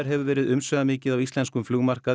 hefur verið umsvifamikið á íslenskum